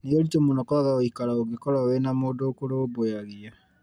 Nĩũritũ mũno kwaga ũikaro ũngĩkorwo wĩna mũndũ ũkũrũmbũyagia